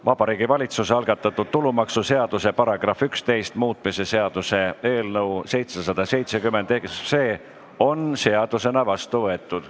Vabariigi Valitsuse algatatud tulumaksuseaduse § 11 muutmise seaduse eelnõu on seadusena vastu võetud.